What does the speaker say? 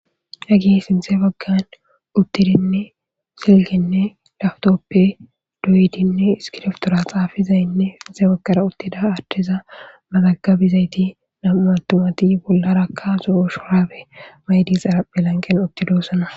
Hagi sinzee baggan uttidinne silginne laftoppe duyidinne iskiroftora xaafizaynne sinxe baggara uttida adhtheza matagabizayti namuatumati bollarakka zo'o shoraabe maydisara pelanqen otidosana